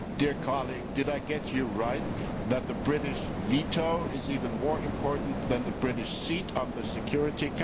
Did I get you right that the British veto is even more important than the British seat on the Security Council?